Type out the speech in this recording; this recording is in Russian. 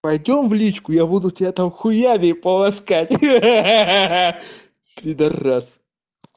пойдём в личку я буду тебя там хуями полоскать ха-ха пидорас